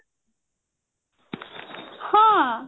ହଁ